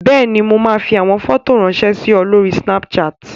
Bẹ́ẹ̀ni, mo máa fi àwọn fọ́tò ráńṣẹ́ sí ọ lórí Snapchat.